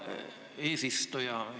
Hea eesistuja!